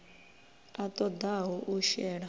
a ṱo ḓaho u shela